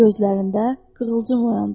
Gözlərində qığılcım oyandı.